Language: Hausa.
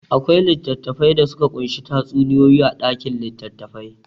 Akwai littattafai da suka ƙunshi tatsuniyoyi a ɗakin litattafai.